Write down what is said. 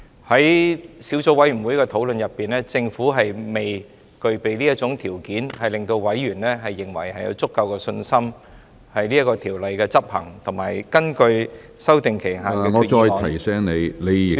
在小組委員會的討論中，政府未能令委員有足夠的信心，條例的執行及根據修訂期限的......